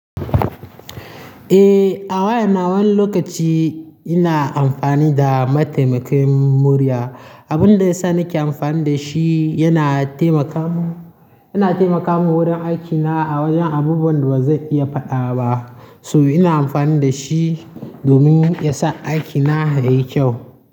Eh, a wayana wani lokaci ina amfani da mataimakin murya. Abin da ya sa nake amfani da shi yana taimaka mu, yana taimaka mu wurin aikina a wajen abubuwan da ba zai iya faɗa ba. So ina amfani da shi domin ya sa aikina yayi kyau.